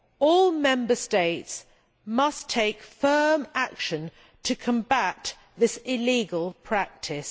All Member States must take firm action to combat this illegal practice.